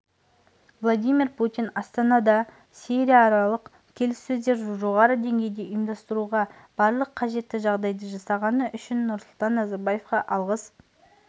владимир путин астанада сирияаралық келіссөздерді жоғары деңгейде ұйымдастыруға барлық қажетті жағдайды жасағаны үшін нұрсұлтан назарбаевқа алғыс